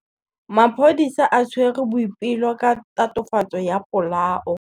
Maphodisa a tshwere Boipelo ka tatofatsô ya polaô.